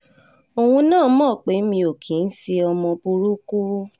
òun náà mọ̀ pé mi ò kì í ṣe ọmọ burúkú